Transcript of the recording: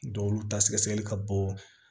Dɔw olu ta sɛgɛsɛgɛli ka bɔ